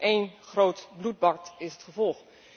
Een groot bloedbad is het gevolg!